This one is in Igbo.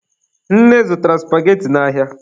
Nne zụtara supageti n'ahịa.